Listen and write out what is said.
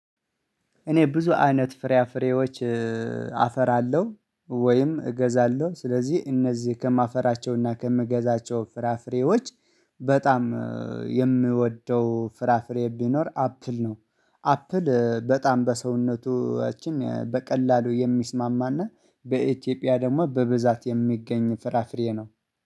እኔ ብዙ አይነት ፍራ ፍሬዎች አፈራለሁ ወይም እገዛለሁ ስለዚህ እነዚህ ከማፈራቸውና ከምገዛቸው ፍራፍሬዎች በጣም የምወደው ፍራፍሬ ቢኖር አፕል ነው። አፕል በጣም በሰውነታችን በቀላሉ የሚስማማና በኢትዮጵያ ደግሞ በብዛት የሚገኝ ፍራፍሬ ነው